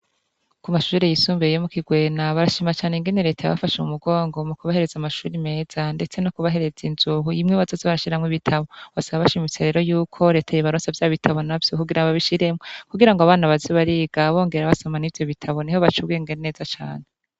Ku mashuhure yisumbeye mu kigwena barashimacane ingene reta yabafashe mu mugongo mu kubahereza amashuri meza, ndetse no kubahereza inzuhu imwe bazozi barashiramwo ibitabo basaba bashaimiserero yuko reteye ibaraso vya bitabo na vyo kugira ababishiremwo kugira ngo abana bazibariga bongera basoman'i vyo bitabo ni ho baca ugengeneza cane.